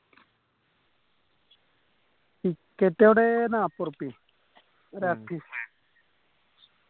ticket അവിടെ നാപ്പതുറിപ്പിയെ ഒരാൾക്ക്